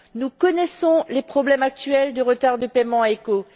Nous connaissons les problèmes actuels de retards de paiement à ECHO.